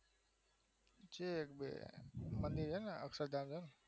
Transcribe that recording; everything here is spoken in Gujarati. બઉ બધું છે ને પેલું છેને અક્ષરધામ હે